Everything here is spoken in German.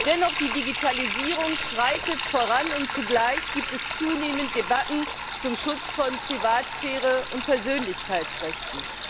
Dennoch Die Digitalisierung schreitet voran, und zugleich gibt es zunehmend Debatten über den Schutz von Privatsphäre und Persönlichkeitsrechten.